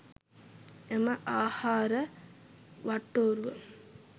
එම ආහාර වට්ටෝරුව